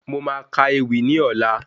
Mo máa ka ewì ní ọlá